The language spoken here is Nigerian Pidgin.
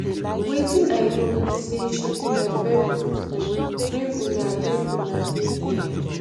wetin i know be say she be my very good friend make una make una dey there